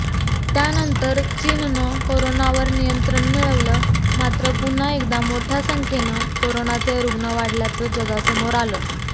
त्यानंतर चीननं कोरोनावर नियंत्रण मिळवलं मात्र पुन्हा एकदा मोठ्या संख्येनं कोरोनाचे रुग्ण वाढल्याचं जगासमोर आलं